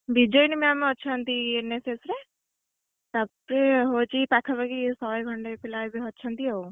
ବିଜୟିନୀ maam ଅଛନ୍ତି NSS ରେ, ତାପରେ ପାଖାପାଖି ହଉଛି ଶହେ ଖଣ୍ଡେ ପିଲା ଅଛନ୍ତି ଆଉ NSS ରେ।